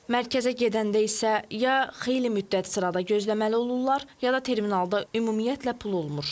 Mərkəzə gedəndə isə ya xeyli müddət sırada gözləməli olurlar, ya da terminalda ümumiyyətlə pul olmur.